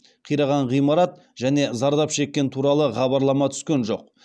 қираған ғимарат және зардап шеккен туралы хабарлама түскен жоқ